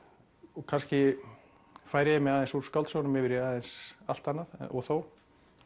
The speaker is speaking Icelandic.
og kannski færi ég mig aðeins úr skáldsögunum yfir í aðeins allt annað og þó